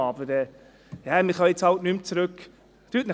Aber wir können jetzt halt nicht mehr zurück.» ...